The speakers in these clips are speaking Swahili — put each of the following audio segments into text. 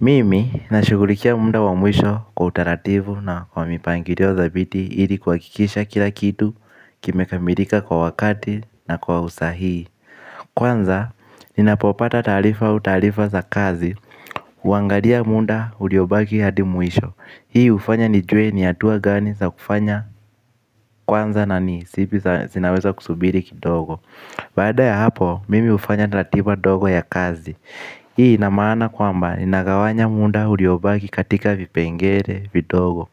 Mimi nashughulikia muda wa mwisho kwa utaratibu na kwa mipangilio dhabiti ili kuhakikisha kila kitu kimekamilika kwa wakati na kwa usahihi Kwanza, ninapopata taarifa au taarifa za kazi, huangalia munda uliobaki hadi mwisho Hii hufanya nijue ni hatua gani za kufanya kwanza na ni, zipi zinaweza kusubiri kidogo Baada ya hapo, mimi hufanya ratiba ndogo ya kazi Hii inamaana kwamba inagawanya munda uliobaki katika vipengele, vidogo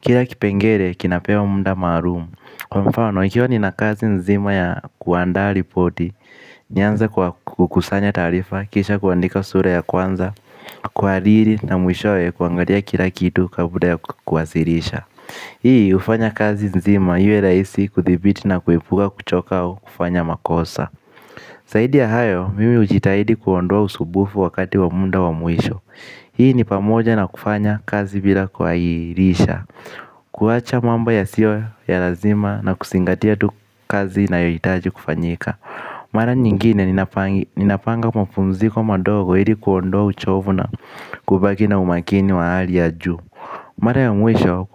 Kira kipengele kinapewa munda maarum Kwa mfano ikiwa ninakazi nzima ya kuandaa ripoti nianze kwa kukusanya taarifa, kisha kuandika sura ya kwanza Kwa aliri na mwishowe kuangalia kila kitu kabla ya kuwasilisha Hii hufanya kazi nzima iwe rahisi kuthibiti na kuepuka kuchoka au kufanya makosa zaidi ya hayo, mimi hujitahidi kuondoa usubufu wakati wa munda wa mwisho Hii ni pamoja na kufanya kazi bila kuairisha kuacha mambo yasiyo ya lazima na kusingatia tu kazi inayojitaji kufanyika Mara nyingine ninapanga mapumziko madogo ili kuondua uchovu na kubaki na umakini wa hali ya juu Mara ya mwisho,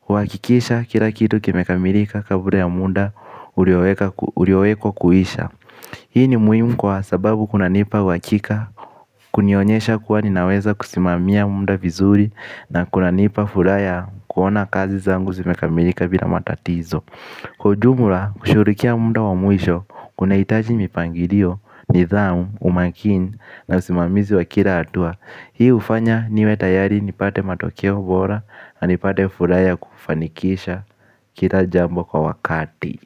huhakikisha kila kitu kimekamirika kabla ya munda uliowekwa kuisha Hii ni muhimu kwa sababu kunanipa uhakika, kunionyesha kuwa ninaweza kusimamia munda vizuri na kunanipa furaha ya kuona kazi zangu zimekamilika bila matatizo. Kwa ujumula, kushughurikia munda wa mwisho, kuna hitaji mipangirio, nidhamu, umakini na usimamizi wa kira hatua. Hii hufanya niwe tayari nipate matokeo bora na nipate furaha ya kufanikisha kila jambo kwa wakati.